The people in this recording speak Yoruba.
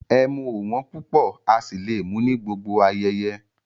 Ẹ̀mú ọ̀ wọn púpọ̀ á sì lé mú ní gbogbo ayéyé